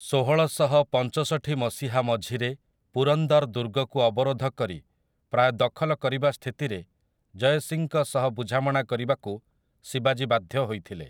ଷୋହଳଶହ ପଞ୍ଚଷଠି ମସିହା ମଝିରେ ପୁରନ୍ଦର୍ ଦୁର୍ଗକୁ ଅବରୋଧ କରି ପ୍ରାୟ ଦଖଲ କରିବା ସ୍ଥିତିରେ ଜୟ ସିଂଙ୍କ ସହ ବୁଝାମଣା କରିବାକୁ ଶିବାଜୀ ବାଧ୍ୟ ହୋଇଥିଲେ ।